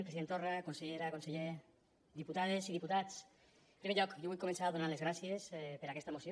president torra consellera conseller diputades i diputats en primer lloc jo vull començar donant les gràcies per aquesta moció